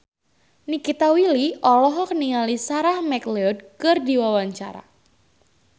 Nikita Willy olohok ningali Sarah McLeod keur diwawancara